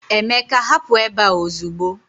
Emeka, hapụ ebe a ozugbo